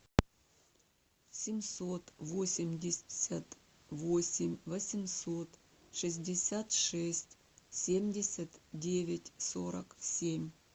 семьсот восемьдесят восемь восемьсот шестьдесят шесть семьдесят девять сорок семь